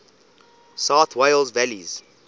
south wales valleys